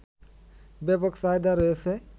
ব্যাপক চাহিদা রয়েছে